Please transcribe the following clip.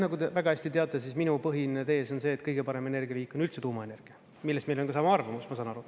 Nagu te väga hästi teate, siis minu põhiline tees on see, et kõige parem energialiik on üldse tuumaenergia, milles meil on ka sama arvamus, ma saan aru.